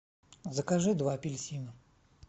закажи два апельсина